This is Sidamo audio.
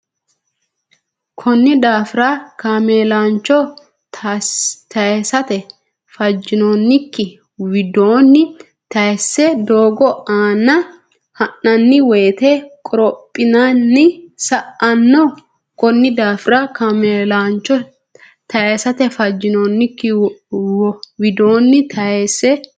Konni daafira kaameelancho taysate fajjinoonnikki widoonni tayisse doogo aana ha nanni woyite qorophine sa anno Konni daafira kaameelancho taysate fajjinoonnikki widoonni tayisse.